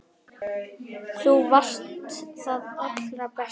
Þú varst það allra besta.